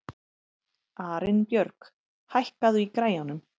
Arinbjörg, hækkaðu í græjunum.